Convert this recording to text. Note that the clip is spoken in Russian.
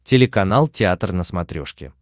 телеканал театр на смотрешке